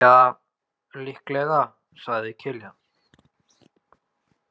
Ja, líklega, sagði Kiljan.